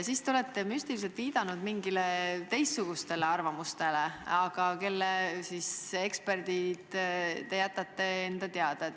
Ka olete müstiliselt viidanud mingitele teistsugustele ekspertide arvamustele, aga kelle omad need on, jätate enda teada.